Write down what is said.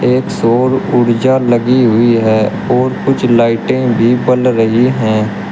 एक सौर ऊर्जा लगी हुई है और कुछ लाइटे भी बल रही है।